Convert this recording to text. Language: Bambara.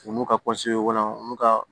U n'u ka olu ka